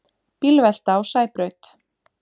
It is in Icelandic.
Bílvelta á Sæbraut